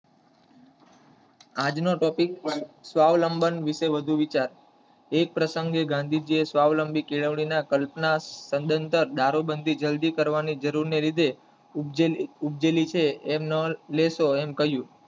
આજ નો topic સ્વાવલંબન વિશે વધુ વિચાર એક પ્રસંગે ગાંધીજીએ સ્વાવલંબી કેળવણી ના કલ્પના સદંતર દારૂબંધી જલ્દી કરવાની ની જરૂર ને લીધે ઉપજેલી ઉપજેલી છે એમ ન લેશો એમ કહીંયુ.